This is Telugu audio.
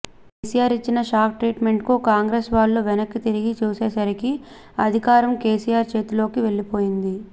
కెసిఆర్ ఇచ్చిన షాక్ ట్రీట్మెంట్కు కాంగ్రెస్ వాళ్ళు వెనక్కి తిరిగి చూసేసరికి అధికారం కెసిఆర్ చేతిలోకి వెళ్లిపోయింది